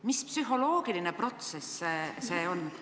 Mis psühholoogiline protsess see on?